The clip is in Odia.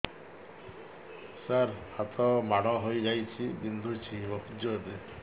ସାର ହାତ ମାଡ଼ ହେଇଯାଇଛି ବିନ୍ଧୁଛି ବହୁତ ଜୋରରେ